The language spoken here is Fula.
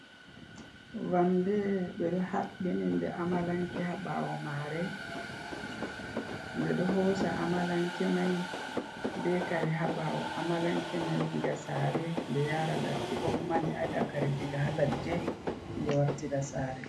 Vamde ɓeɗo haɓɓininde amalanke haɓawo mare, nde ɗo hosa amalanke mai be kare haɓawo amalanke mai diga sare nde yara ladde ko kuma nde ada kare diga haladde nde wartida sare.